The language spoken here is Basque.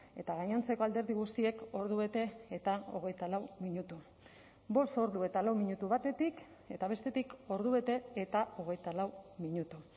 eta gainontzeko alderdi guztiek ordubete eta hogeita lau minutu bost ordu eta lau minutu batetik eta bestetik ordubete eta hogeita lau minutu